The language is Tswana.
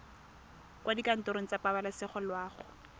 kwa dikantorong tsa pabalesego loago